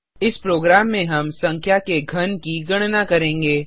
इस प्रोग्राम में हम संख्या के घन की गणना करेंगे